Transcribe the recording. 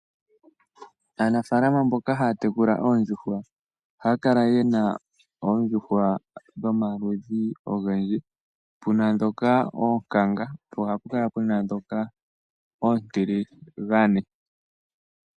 Aanafalama mboka haya tekula oondjuhwa ohaya kala yena oondjuhwa dhomaludhi ogendji puna ndhoka oonkanga po ohapu kala puna ndhoka oontiligane.